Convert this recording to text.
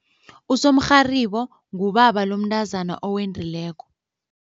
Usomrharibo ngubaba lomntazana owendileko.